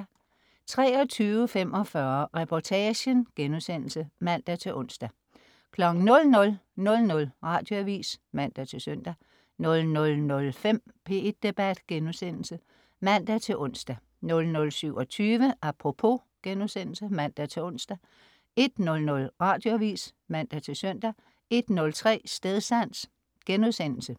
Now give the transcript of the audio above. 23.45 Reportagen* (man-ons) 00.00 Radioavis (man-søn) 00.05 P1 Debat* (man-ons) 00.27 Apropos* (man-ons) 01.00 Radioavis (man-søn) 01.03 Stedsans*